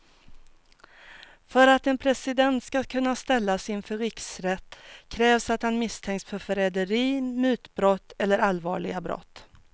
För att en president ska kunna ställas inför riksrätt krävs att han misstänks för förräderi, mutbrott eller allvarliga brott.